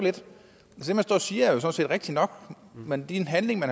siger er jo sådan set rigtigt nok men de handlinger